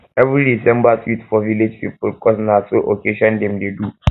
every december dey sweet for village because na so so occasion dem dey do